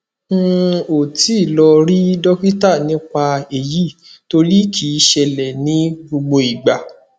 n ò tí ì lọ rí dọkítà nípa èyí torí kì í ṣẹlẹ ní gbogbo ìgbà